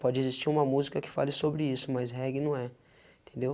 Pode existir uma música que fale sobre isso, mas reggae não é, entendeu?